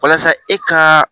Walasa e ka